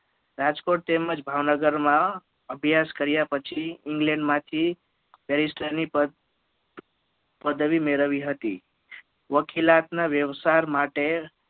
રાજકોટ તેમજ ભાવન ગર માં અભ્યાસ કર્યા પછી England માંથી Berister ની પ પદવી મેળવી હતી વકીલાત ના વ્યવસર માટે